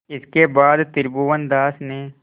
इसके बाद त्रिभुवनदास ने